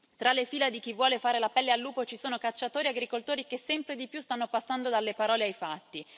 Tra le fila di chi vuole fare la pelle al lupo ci sono cacciatori e agricoltori che sempre di più stanno passando dalle parole ai fatti.